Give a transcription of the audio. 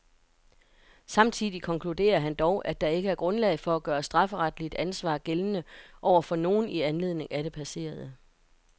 Samtidig konkluderer han dog, at der ikke er grundlag for at gøre strafferetligt ansvar gældende over for nogen i anledning af det passerede.